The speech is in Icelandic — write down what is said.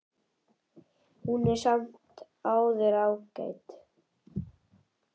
Hún er samt sem áður ágæt.